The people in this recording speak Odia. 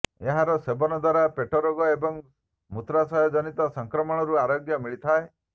ଏହାର ସେବନ ଦ୍ୱାରା ପେଟରୋଗ ଏବଂ ମୂତ୍ରାଶୟଜନିତ ସଂକ୍ରମଣରୁ ଆରୋଗ୍ୟ ମିଳିଥାଏ